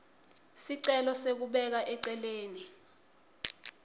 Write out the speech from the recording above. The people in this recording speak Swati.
sicelo sekubeka eceleni